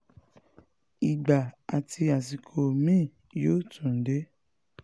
ìgbà àti àsìkò mi-ín yóò tún dé